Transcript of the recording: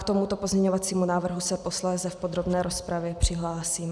K tomuto pozměňovacímu návrhu se posléze v podrobné rozpravě přihlásím.